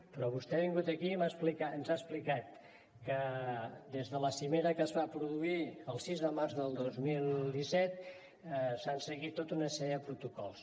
però vostè ha vingut aquí i ens ha explicat que des de la cimera que es va produir el sis de març del dos mil disset s’han seguit tota una sèrie de protocols